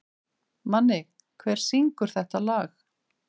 Manni, hver syngur þetta lag?